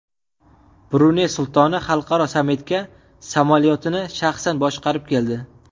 Bruney sultoni xalqaro sammitga samolyotini shaxsan boshqarib keldi .